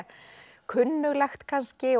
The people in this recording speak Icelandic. kunnuglegt kannski og